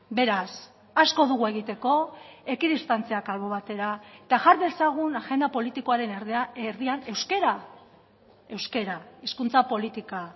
beraz asko dugu egiteko ekidistantziak albo batera eta jar dezagun agenda politikoaren erdian euskara euskara hizkuntza politika